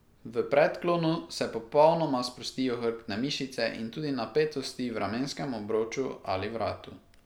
V predklonu se popolnoma sprostijo hrbtne mišice in tudi napetosti v ramenskem obroču ali vratu.